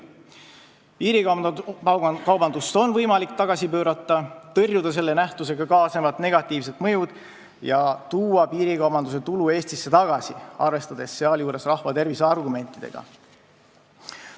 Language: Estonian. Piirikaubandust on võimalik tagasi pöörata, tõrjuda selle nähtusega kaasnevad negatiivsed mõjud ja tuua tulud Eestisse tagasi, arvestades sealjuures rahvatervise argumentidega.